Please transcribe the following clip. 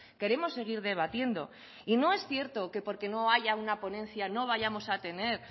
queremos seguir debatiendo y no es cierto que porque no haya una ponencia no vayamos a tener